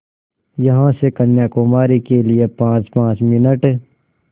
यहाँ से कन्याकुमारी के लिए पाँचपाँच मिनट